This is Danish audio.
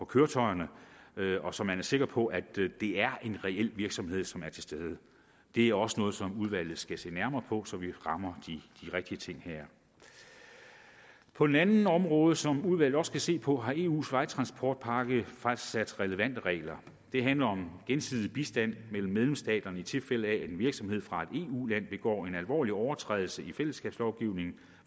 køretøjerne så man er sikker på at det er en reel virksomhed som er til stede det er også noget som udvalget skal se nærmere på så vi rammer de rigtige ting her på et andet område som udvalget også skal se på har eus vejtransportpakke fastsat relevante regler det handler om gensidig bistand mellem medlemsstaterne i tilfælde af at en virksomhed fra et eu land begår en alvorlig overtrædelse i fællesskabslovgivningen